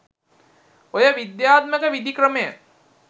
ඔය විද්‍යාත්මක විධි ක්‍රමය